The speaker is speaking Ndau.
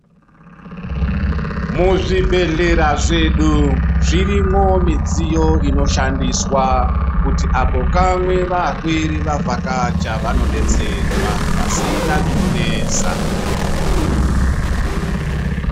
Muzvibhedhlera zvedu, zvirimwo midziyo inoshandiswa kuti apo kamwe vapwere vabvakacha vanodetserwa pasina zvinonesa.